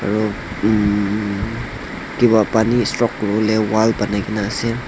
aru umm kiba pani stock kuri bole wall banai ke na ase.